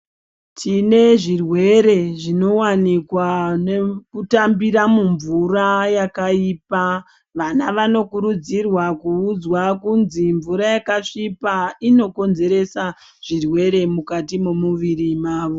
Tine zvirwere zvinowanikwa nekutambira mumvura yakaipa. Vana vanokurudzirwa kuudzwa kunzwi mvura yakasvipa yakasvipa inokonzeresa zvirwere mukati memuviri mavo.